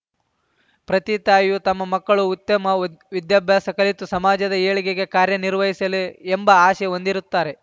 ಪ್ರತಿ ತಾಯಿಯೂ ತಮ್ಮ ಮಕ್ಕಳು ಉತ್ತಮ ವಿದ್ಯಾಭ್ಯಾಸ ಕಲಿತು ಸಮಾಜದ ಏಳಿಗೆಗೆ ಕಾರ್ಯನಿರ್ವಹಿಸಲಿ ಎಂಬ ಆಸೆ ಹೊಂದಿರುತ್ತಾರೆ